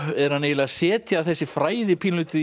er hann eiginlega að setja þessi fræði pínulítið í